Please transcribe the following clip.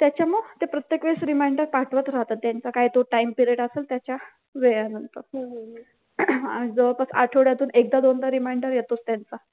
त्याच्यामुळ ते प्रत्येक वेळेस reminder पाठवत राहतात त्यांचा काय तो time period असल त्याच्या वेळानंतर जवळपास आठवड्यातून एकदा-दोनदा reminder येतोच त्यांचा